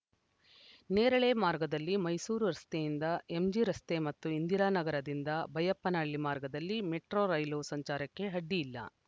ನೇರಳೆ ಮಾರ್ಗದಲ್ಲಿ ಮೈಸೂರು ರಸ್ತೆಯಿಂದ ಎಂಜಿರಸ್ತೆ ಮತ್ತು ಇಂದಿರಾನಗರದಿಂದ ಬೈಯಪ್ಪನಹಳ್ಳಿ ಮಾರ್ಗದಲ್ಲಿ ಮೆಟ್ರೋ ರೈಲು ಸಂಚಾರಕ್ಕೆ ಅಡ್ಡಿ ಇಲ್ಲ